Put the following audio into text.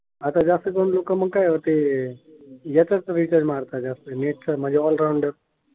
एकच रिचार्ज मारतात जास्त, नेट चा म्हणजे ओल राउंडर.